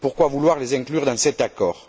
Pourquoi vouloir les inclure dans cet accord?